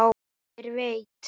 Hver veit!